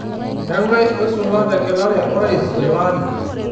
kang'ae oisula tengelare orais tele ari